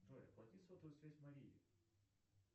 джой оплати сотовую связь марии